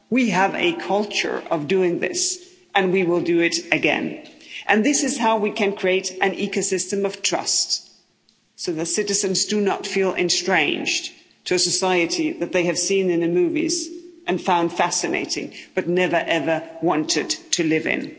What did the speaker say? We have a culture of doing this and we will do it again. This is how we can create an ecosystem of trust, so that citizens do not feel estranged to a society that they have seen in the movies and found fascinating, but never ever wanted to live